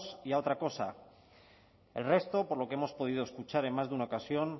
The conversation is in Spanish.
y a otra cosa el resto por lo que hemos podido escuchar en más de una ocasión